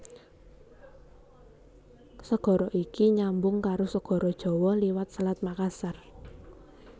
Segara iki nyambung karo Segara Jawa liwat Selat Makassar